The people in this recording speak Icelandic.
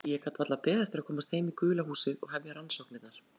Ég gat varla beðið eftir að komast heim í gula húsið og hefja rannsóknirnar.